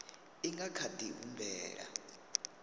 i nga kha di humbela